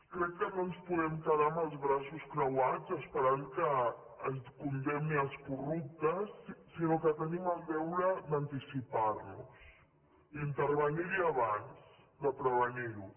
crec que no ens podem quedar amb els braços creuats esperant que es condemni els corruptes sinó que tenim el deure d’anticipar nos d’intervenir hi abans de prevenir ho